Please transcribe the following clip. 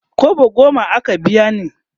kwabo goma aka biya ni